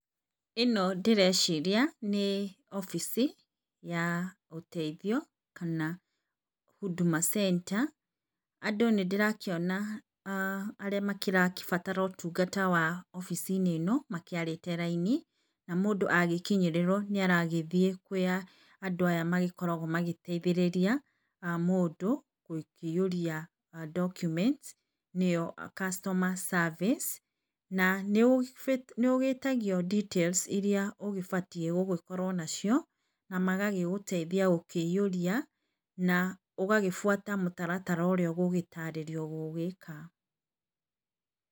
Ĩno ndĩreciria nĩ obici ya, ũteithio, kana huduma centa. Andũ nĩndĩrakĩona ah arĩa makĩrabatara ũtungata wa, obici ĩno makĩarĩte raini, na mũndũ agĩkinyĩrĩrwo nĩ aragĩthiĩ kũrĩa andũ aya makoragwo magĩteithĩrĩria, mũndũ, gũkĩiyũria document nĩo customer service na nĩũbatiĩ nĩũgĩtagio details iria ũgĩbatiĩ gũgĩkorwo nacio na magagũteithia gũkĩiũria, na ũgaĩbuata mũtaratara ũrĩa ũgũtarĩrio gũgĩka.